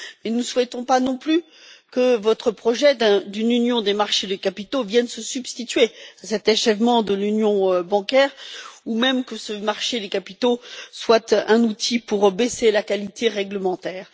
Nous ne souhaitons pas non plus que votre projet d'une union des marchés des capitaux vienne se substituer à cet achèvement de l'Union bancaire ou même que ce marché des capitaux soit un outil pour abaisser la qualité réglementaire.